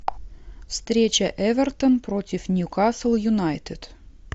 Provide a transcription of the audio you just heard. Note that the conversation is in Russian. встреча эвертон против ньюкасл юнайтед